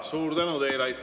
Suur tänu teile!